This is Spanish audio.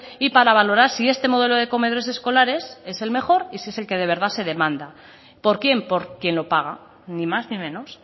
y para valorar si este modelo de comedores escolares es el mejor y si es el que de verdad se demanda por quién por quien lo paga ni más ni menos